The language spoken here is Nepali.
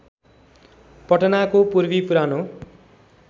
पटनाको पूर्वी पुरानो